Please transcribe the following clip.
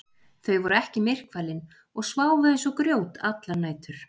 Þau voru ekki myrkfælin og sváfu eins og grjót allar nætur.